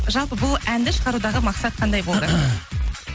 жалпы бұл әнді шығарудағы мақсат қандай болды